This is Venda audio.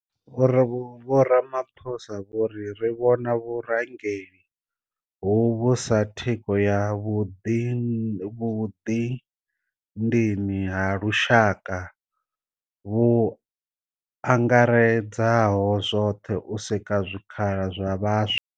Vho Ramaphosa vho ri. Ri vhona vhurangeli hovhu sa thikho ya vhuḓidini ha lushaka vhu angaredzaho zwoṱhe u sika zwikhala zwa vhaswa.